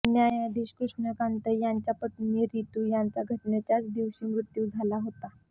न्यायाधीश कृष्णकांत यांच्या पत्नी रितू यांचा घटनेच्याच दिवशी मृत्यू झाला होता